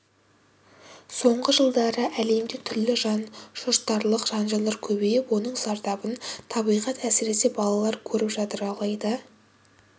соңғы жылдары әлемде түрлі жан шошытарлық жанжалдар көбейіп оның зардабын табиғат әсересе балалар көріп жатыр алайда